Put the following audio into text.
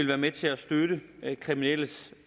være med til at støtte kriminelles